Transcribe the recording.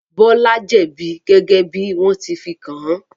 Bọ́lá jẹ̀bi gẹ́gẹ́ bí wọ́n ti fi kàn án.